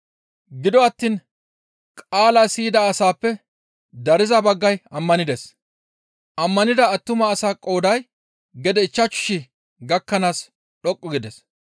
Gido attiin qaalaa siyida asaappe dariza baggay ammanides; ammanida attuma asaa qooday gede ichchashu shii gakkanaas dhoqqu gides.